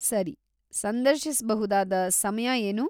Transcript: ಸರಿ, ಸಂದರ್ಶಿಸ್ಬಹುದಾದ ಸಮಯ ಏನು?